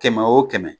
Kɛmɛ wo kɛmɛ